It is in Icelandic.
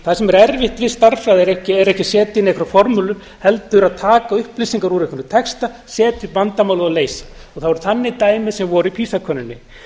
það sem er erfitt við stærðfræði er ekki að setja inn einhverja formúlu heldur að taka upplýsingar úr einhverjum texta setja upp vandamálið og leysa það það voru þannig dæmi sem voru í pisa könnuninni